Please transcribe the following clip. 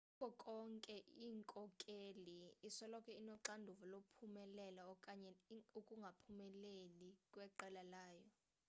kuko konke inkokheli isoloko inoxanduva lokuphumelela okanye ukungaphumeleli kweqela layo